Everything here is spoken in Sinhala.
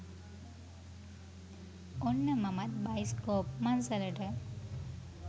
ඔන්න මමත් බයිස්කෝප් මංසලට